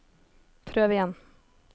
prøv igjen